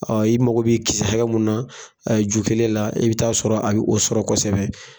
i mago be kisɛ hakɛ mun na a ju kelen la i bɛ taa sɔrɔ a ye o sɔrɔ kɔsɛbɛ.